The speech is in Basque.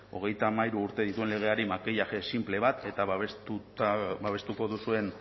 hogeita hamairu urte dituen legeari makillaje sinple bat eta babestuko duzuen